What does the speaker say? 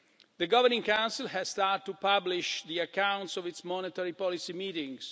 The Governing Council has started to publish the accounts of its monetary policy meetings.